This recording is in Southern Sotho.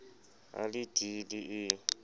a le d e le